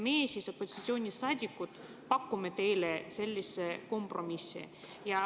Meie, opositsioonisaadikud, pakume teile sellise kompromissi.